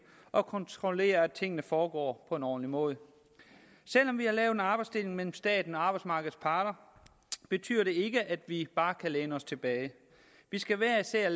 og kontrollerer at tingene foregår på en ordentlig måde selv om vi har lavet en arbejdsdeling mellem staten og arbejdsmarkedets parter betyder det ikke at vi bare kan læne os tilbage vi skal hver især